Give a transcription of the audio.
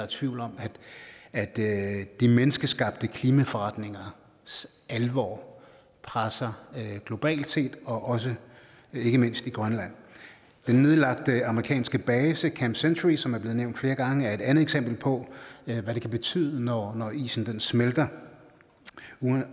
tvivl om at de menneskeskabte klimaforandringers alvor presser globalt set og også ikke mindst i grønland den nedlagte amerikanske base camp century som er blevet nævnt flere gange er et andet eksempel på hvad det kan betyde når isen smelter